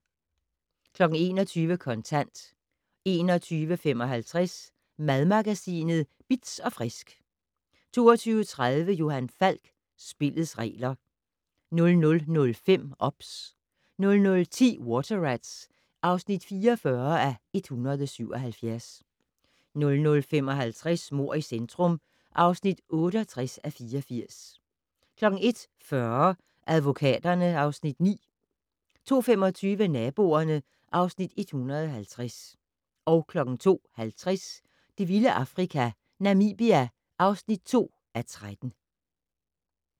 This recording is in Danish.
21:00: Kontant 21:55: Madmagasinet Bitz & Frisk 22:30: Johan Falk: Spillets regler 00:05: OBS 00:10: Water Rats (44:177) 00:55: Mord i centrum (68:84) 01:40: Advokaterne (Afs. 9) 02:25: Naboerne (Afs. 150) 02:50: Det vilde Afrika - Namibia (2:13)